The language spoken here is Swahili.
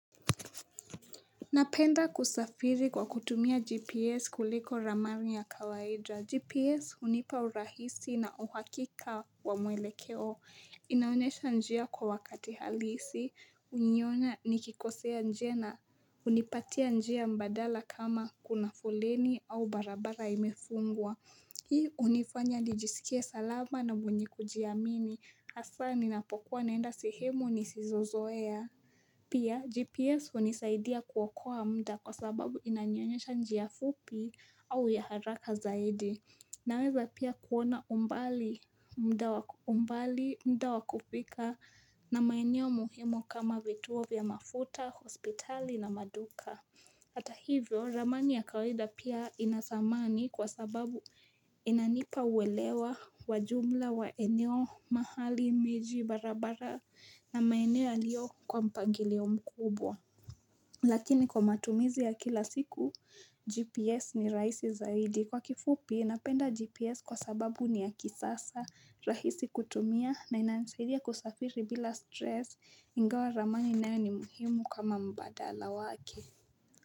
Napenda kusafiri kwa kutumia GPS kuliko ramari ya kawaida. GPS hunipaurahisi na uhakika wa mwele keo. Inaonesha njia kwa wakati halisi. Unihonya nikikosea njia na. Unipatia njia mbadala kama kuna fuleni au barabara imefungwa. Hii unifanya nijisikie salama na mwenye kujiamini. Hasa ninapokuwa naenda sehemu nisizozoea. Pia, GPS unisaidia kuwakoa muda kwa sababu inanionyesha njia fupi au ya haraka zaidi. Naweza pia kuona umbali muda wakufika na maeneo muhimu kama vituo vya mafuta, hospitali na maduka. Hata hivyo, ramani ya kawaida pia inadhamani kwa sababu inanipa uwelewa wajumla wa eneo mahali miji barabara na maenea yaliyo kwa mpangilio mkubwa. Lakini kwa matumizi ya kila siku, GPS ni raisi zaidi. Kwa kifupi, napenda GPS kwa sababu ni ya kisasa rahisi kutumia na inasaidia kusafiri bila stress ingawa ramani nao ni muhimu kama mbadala wake.